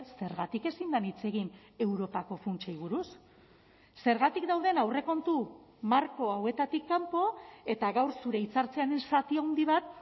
zergatik ezin den hitz egin europako funtsei buruz zergatik dauden aurrekontu marko hauetatik kanpo eta gaur zure hitzartzearen zati handi bat